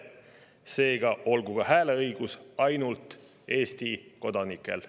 Seega olgu ka hääleõigus ainult Eesti kodanikel.